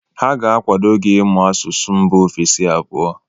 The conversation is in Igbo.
Ha ga-akwado gị ịmụ asụsụ mba ofesi abụọ.